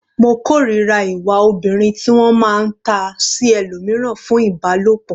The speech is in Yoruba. Mo kòrira ìwà obìnrin ti wọ́n máa ta sí ẹlòmíràn fún Ìbálòpọ̀.